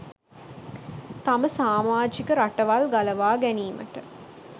තම සාමාජික රටවල් ගලවා ගැනීමට